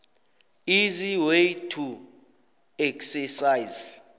easy way to exercise